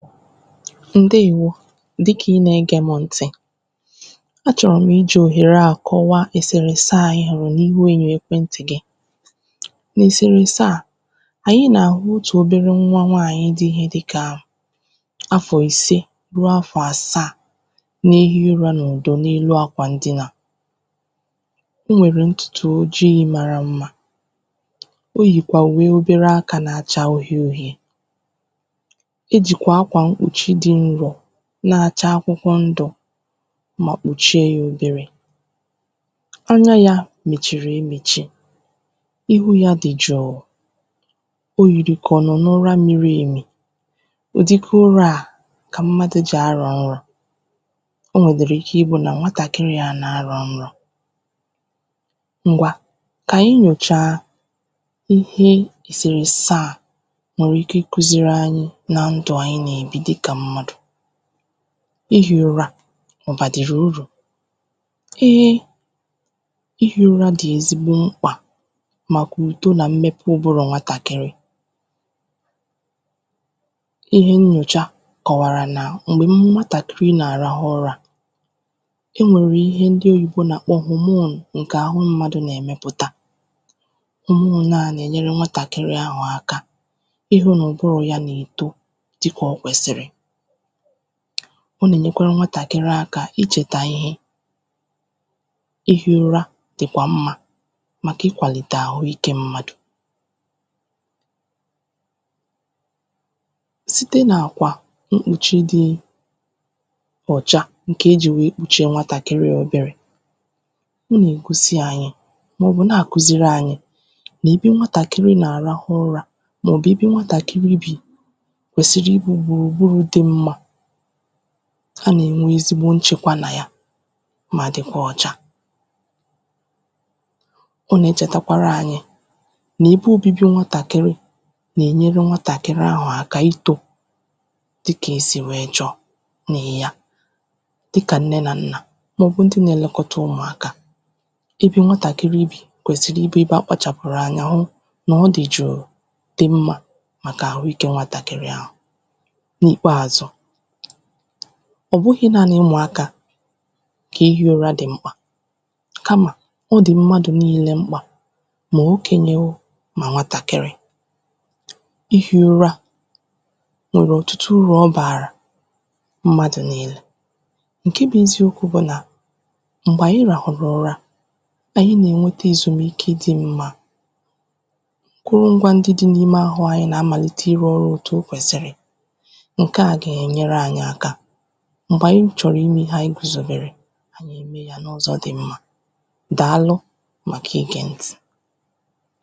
Ǹdeèwo dịkà ị nà egē mụ ntị̀ a chọ̀rọ̀ m̀ ijì òhère à kọwaa èsèrèese à ị hụ̀rụ̀ n’ihu ènyò ekwentị̀ gị n’èsèrèèse à ànyị nà-àhụ uchè obere nwa nwaànyị dịkà afọ̀ ise ru afọ̀ àsaà na-ehi ụrā n’ùdo n’elu akwà ndinà o nwèrè ntụ̀tụ̀ ojiī mara mmā yìkwà ùwe obere akā na-acha uhie uhie e jìkwà akwà mkpùchi dị nrò na-acha akwụkwọ ndụ̀ mà kpùchie yā oberē anya yā mèchìrì e mèchi ihu yā dị̀ jụ̀ụ̀ o yìrì kà ọ̀ nọ̀ n’ụra miri èmì ụ̀dịka ụrā à kà mmadụ̀ jì arọ̀ nrọ̄ o nwèdị̀rị̀ ike ịbụ̄ nà nwtakịrị à nà-arọ̀ nrọ̄ ngwa kà anyị nyòchaa ihe èsèrèèse à nwèrè ike ịkụ̄ziri anyị na ndụ̀ anyị nà-èbi dịkà mmadụ̀ ihī ụra ọ̀ bàdị̀rị̀ urù eee ihī ụra dị̀ ezigbo mkpà màkà ùto nà mmepe ụbụrụ̀ nwatakịrị ihe nnyòcha kọ̀wàrà nà m̀gbè nwatàkịrị nà-àrahụ ụrā e nwèrè ihe ndị oyìbo nà-àkpọ hormone ǹkè àhụ mmadụ̀ nà-èmepụ̀ta hormone à nà-ènyere nwatàkịrị ahụ̀ aka ịhụ̄ nà ụ̀bụrụ̀ ya nà-èto dịkà o kwèsị̀rị̀ ọ nà-ènyekwara nwatàkịrị aka ichètà ihe ihī ụra dị̀kwà mmā màkà ịkwàlìtè ahụikē mmadụ̀ site n’àkwà mkpùchi dị ọ̀cha ǹkè e jì wèe kpùchie nwatàkịrị à oberē ọ nà-ègosi anyị màọ̀bụ̀ na-àkụziri anyị nà ebe nwatàkịrị nà-àrahụ ụrā nà òbibi nwatàkịrị bì kwèsị̀rị̀ ị bụ̄ gbùrùgburù dị mmā anà-ènwe ezigbo nchekwa nà ya mà dịkwa ọcha ọ nà-echètakwara anyị n’ebe obibi nwatàkịrị nà-ènyere nwatàkịrị ahụ̀ aka itō dịkà esì wèe chọọ nị̀ ya dịkà nne nà nnà màọ̀bụ ndị na-elekọta ụmụ̀ akā ebe nwatàkịrị bì kwèsị̀rị̀ ịbụ̄ ebe akpachàpụ̀rù anya hụ nà ọ dị̀ jụ̀ụ̀ dị mmā màkà àhụikē nwatàkịrị ahụ̀ n’ìkpeazụ ọ̀ bụhị̄ naanị ụmụ akā kà ihī ụra dị̀ mkpà kamà ọ dị̀ mmadụ̀ niilē mkpà mà okènyè oo mà nwatàkịrị ihī ụra nwèrè ọ̀tụtụ urù ọ bàrà mmadụ̀ niilē ǹke bụ eziokwū bụ nà m̀gbè anyị ràhụ̀rụ̀ ụra ànyị nà-ènwete èzùmike dị̄ mmā kụrụ ngwā ndị dị̄ n’ime ahụ anyị nà-amàlite ịrụ̄ ọrụ òtù o kwèsị̀rị̀ ǹke à gà-ènyere anyị aka m̀gbè anyị chọ̀rọ̀ imē ihe anyị gùzòbèrè ànyị̀ è mee yā n’ụzọ̄ dị mmā dààlụ màkà igè ntị̀